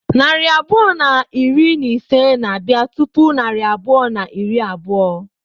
Narị abụọ na iri na ise na-abịa tupu narị abụọ na iri abụọ.